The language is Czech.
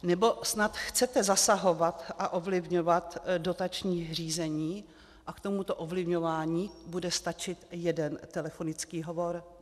Nebo snad chcete zasahovat a ovlivňovat dotační řízení a k tomuto ovlivňování bude stačit jeden telefonický hovor?